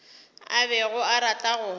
a bego a rata go